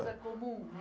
Não comum, né?